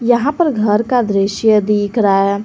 यहां पर घर का दृश्य दिख रहा है।